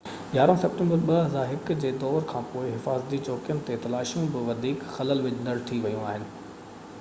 11 September 2001 جي دور کانپوءِ حفاظتي چوڪين تي تلاشيون بہ وڌيڪ خلل وجهندڙ ٿي ويون آهن